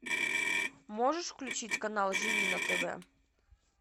можешь включить канал живи на тв